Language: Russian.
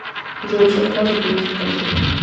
джой чем платят у мексиканцев